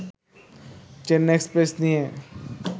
Chennai Express' নিয়ে